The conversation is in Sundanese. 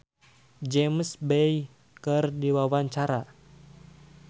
Cecep Reza olohok ningali James Bay keur diwawancara